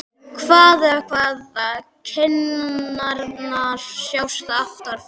Hvaða, hvaða- kinnarnar sjást aftan frá!